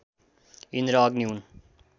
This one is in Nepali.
इन्द्र अग्नि हुन्